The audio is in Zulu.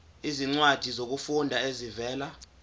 izincwadi zokufunda ezivela